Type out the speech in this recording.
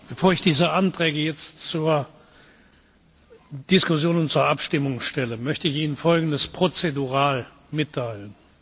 Bevor ich diese Anträge jetzt zur Diskussion und zur Abstimmung stelle, möchte ich Ihnen Folgendes prozedural mitteilen.